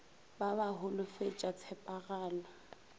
ba ba ba holofetša tshepagalo